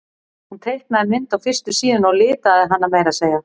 Hún teiknaði mynd á fyrstu síðuna og litaði hana meira að segja.